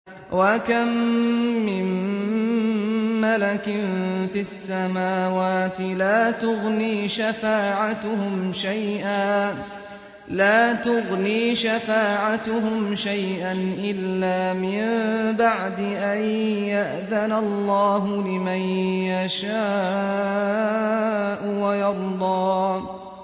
۞ وَكَم مِّن مَّلَكٍ فِي السَّمَاوَاتِ لَا تُغْنِي شَفَاعَتُهُمْ شَيْئًا إِلَّا مِن بَعْدِ أَن يَأْذَنَ اللَّهُ لِمَن يَشَاءُ وَيَرْضَىٰ